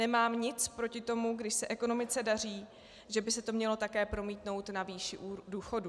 Nemám nic proti tomu, když se ekonomice daří, že by se to mělo také promítnout na výši důchodů.